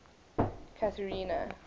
catherina